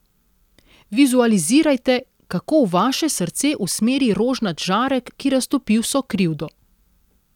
Vizualizirajte, kako v vaše srce usmeri rožnat žarek, ki raztopi vso krivdo.